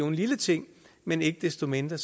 en lille ting men ikke desto mindre